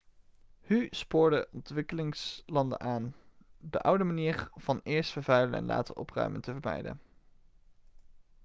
hu spoorde ontwikkelingslanden aan de oude manier van eerst vervuilen en later opruimen te vermijden'